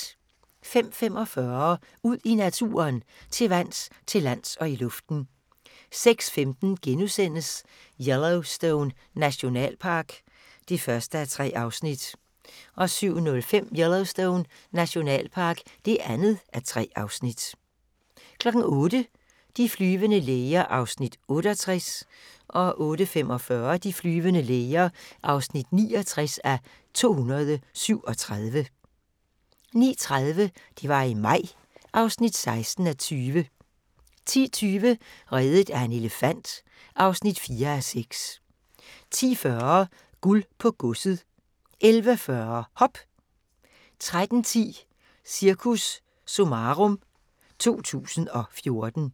05:45: Ud i naturen: Til vands, til lands og i luften 06:15: Yellowstone Nationalpark (1:3)* 07:05: Yellowstone Nationalpark (2:3) 08:00: De flyvende læger (68:237) 08:45: De flyvende læger (69:237) 09:30: Det var i maj (16:20) 10:20: Reddet af en elefant (4:6) 10:40: Guld på godset 11:40: Hop 13:10: Cirkus Summarum 2014